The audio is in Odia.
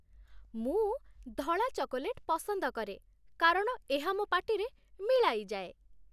ମୁଁ ଧଳା ଚକୋଲେଟ୍ ପସନ୍ଦ କରେ କାରଣ ଏହା ମୋ ପାଟିରେ ମିଳାଇଯାଏ